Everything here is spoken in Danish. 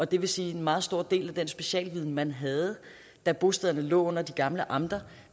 det vil sige at en meget stor del af den specialviden man havde da bostederne lå under de gamle amter